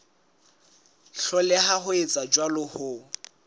hloleha ho etsa jwalo ho